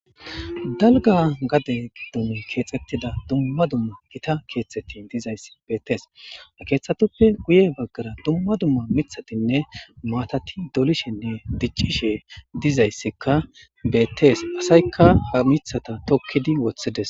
Dalga gade giddomi keexxettida dumma dumma gita keextetin dizayss bettees a keeththatuppe guye baggara dumma dumma mithatinne maatati dolishenne diccishe dizayssekka bettees pasaykka ha mithata tokkidi wothides